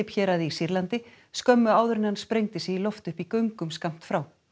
héraði í Sýrlandi skömmu áður en hann sprengdi sig í loft upp í göngum skammt frá